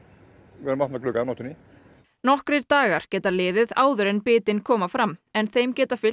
vera með opna glugga á nóttunni nokkrir dagar geta liðið áður en bitin koma fram en þeim geta fylgt